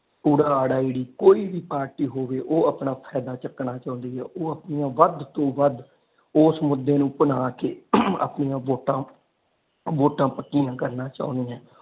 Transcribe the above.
ਓ ਅ ਈ ਕੋਈ ਪਾਰਟੀ ਹੋਵੇ ਉਹ ਆਪਣਾ ਫਾਇਦਾ ਚੁੱਕਣਾ ਚਾਉਂਦੀ ਹੈ ਉਹ ਆਪਣੀਆਂ ਵੱਧ ਤੋਂ ਵੱਧ ਉਸ ਮੁਦੇ ਨੂੰ ਬਣਾ ਕੇ ਆਪਣੀਆਂ ਵੋਟਾਂ ਵੋਟਾਂ ਪੱਕੀਆਂ ਕਰਨਾ ਚਾਉਂਦੀ ਹੈ।